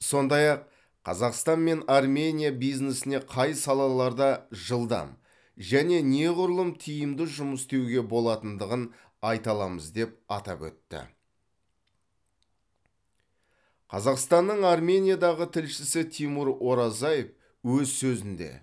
сондай ақ қазақстан мен армения бизнесіне қай салаларда жылдам және неғұрлым тиімді жұмыс істеуге болатындығын айта аламыз деп атап өтті қазақстанның армениядағы тілшісі тимур оразаев өз сөзінде